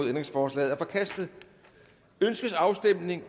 ændringsforslaget er forkastet ønskes afstemning